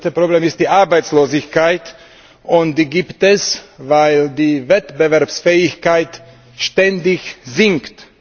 Das größte Problem ist die Arbeitslosigkeit, und die gibt es, weil die Wettbewerbsfähigkeit stetig sinkt.